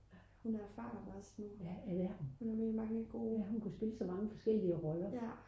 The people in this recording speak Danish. hun er er erfaren også nu hun er med i mange gode